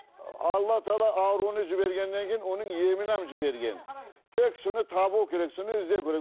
алла тағала ауруын жібергеннен кейін оның емімен жіберген тек соны табу керек соны іздеу керек